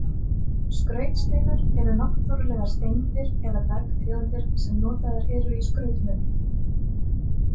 Skrautsteinar eru náttúrulegar steindir eða bergtegundir sem notaðar eru í skrautmuni.